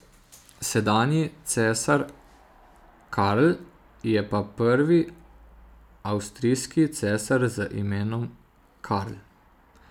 Sedanji cesar Karl je pa prvi avstrijski cesar z imenom Karl.